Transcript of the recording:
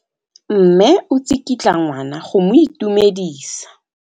Mme o tsikitla ngwana go mo itumedisa.